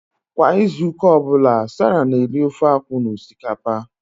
Kwa izu ụka ọ bụla, Sarah na-eri ofe akwu na osikapa